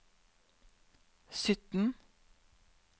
sytten